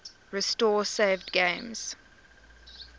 restore saved games